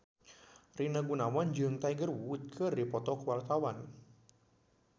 Rina Gunawan jeung Tiger Wood keur dipoto ku wartawan